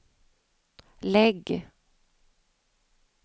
lägg